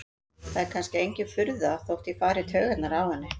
Það er kannski engin furða þótt ég fari í taugarnar á henni.